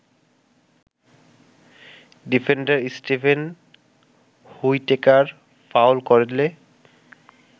defender Steven Whitaker foul করলে